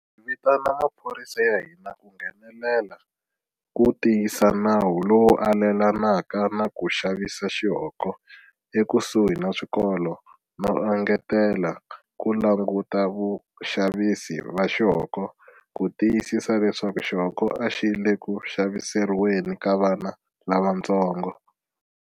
Hi vitana maphorisa ya hina ku nghenelela ku tiyisa nawu lowu alelanaka na ku xavisa xihoko ekusuhi na swikolo no engetela ku languta vaxavisi va xihoko ku tiyisisa leswaku xihoko a xi le ku xaviseriweni ka vana lavantsongo.